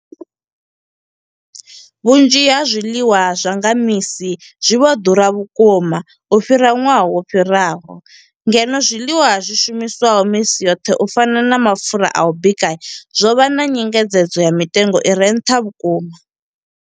Vhunzhi ha zwiḽiwa zwa nga misi zwi vho ḓura vhukuma u fhira ṅwaha wo fhiraho, ngeno zwiḽiwa zwi shumiswaho misi yoṱhe u fana na mapfhura a u bika zwo vha na nyengedzedzo ya mitengo i re nṱha vhukuma.